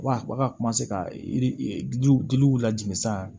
Wa ka ka yiri giliw giliw lajigin san